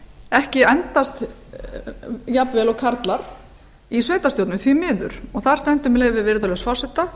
ekki endast jafnvel og karlar í sveitarstjórnum því miður og þar stendur með leyfi virðulegs forseta